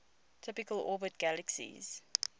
typically orbit galaxies